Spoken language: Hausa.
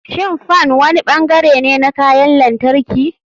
Shin fan wani bangare ne na kayan lantarki?